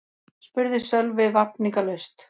spurði Sölvi vafningalaust.